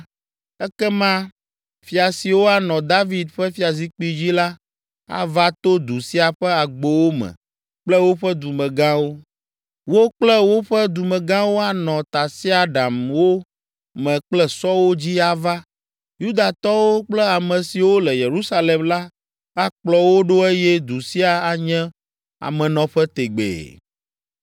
ekema fia siwo anɔ David ƒe fiazikpui dzi la, ava to du sia ƒe agbowo me kple woƒe dumegãwo. Wo kple woƒe dumegãwo anɔ tasiaɖamwo me kple sɔwo dzi ava, Yudatɔwo kple ame siwo le Yerusalem la akplɔ wo ɖo eye du sia anye amenɔƒe tegbee.